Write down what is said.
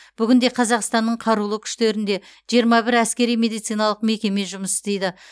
бүгінде қазақстанның қарулы күштерінде жиырма бір әскери медициналық мекеме жұмыс істейді